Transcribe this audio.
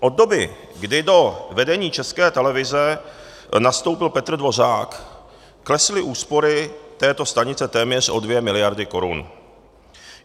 Od doby, kdy do vedení České televize nastoupil Petr Dvořák, klesly úspory této stanice téměř o 2 miliardy korun.